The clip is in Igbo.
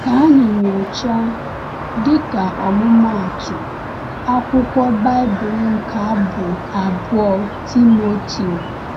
Ka anyị nyochaa, dịka ọmụmaatụ, akwụkwọ Baịbụl nke Abụ abụọ Timoteo.